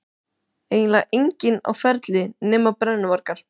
Eiginlega enginn á ferli nema brennuvargar.